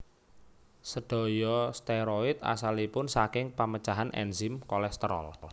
Sédaya steroid asalipun saking pemecahan ènzim kolesterol